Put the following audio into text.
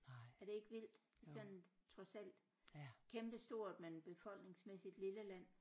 Er det ikke vildt sådan trods alt kæmpe stort men befolkningsmæssigt lille land